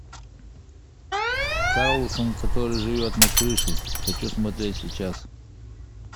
карлсон который живет на крыше хочу смотреть сейчас